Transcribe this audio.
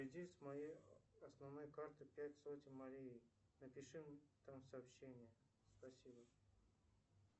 с моей основной карты пять сотен марие напиши там сообщение спасибо